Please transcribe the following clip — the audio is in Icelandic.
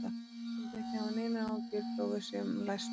Þú skalt ekki hafa neinar áhyggjur þó að við séum læst úti.